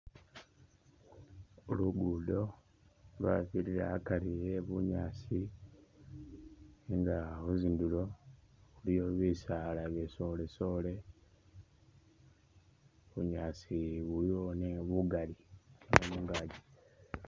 Luguudo lwabirira akari eh bunyaasi nga khutsindulo iliyo bisaala bisolesole, bunyaasi buliwo nenga bugali bwe mungaaji.